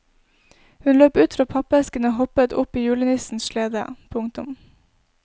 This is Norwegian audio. Hun løp ut fra pappeskene og hoppet opp i julenissens slede. punktum